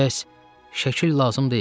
Bəs şəkil lazım deyil?